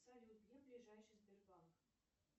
салют где ближайший сбербанк